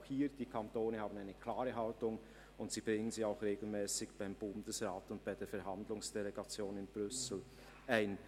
Auch hier haben die Kantone eine klare Haltung, und sie bringen sie auch regelmässig beim Bundesrat und bei der Verhandlungsdelegation in Brüssel ein.